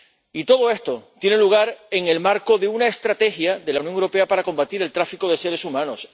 Y todo esto tiene lugar en el marco de una estrategia de la Unión Europea para combatir el tráfico de seres humanos.